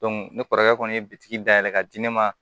ne kɔrɔkɛ kɔni ye bitigi dayɛlɛ ka di ne ma